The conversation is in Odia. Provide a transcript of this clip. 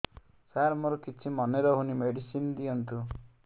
ସାର ମୋର କିଛି ମନେ ରହୁନି ମେଡିସିନ ଦିଅନ୍ତୁ